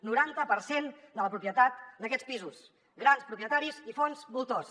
noranta per cent de la propietat d’aquests pisos grans propietaris i fons voltors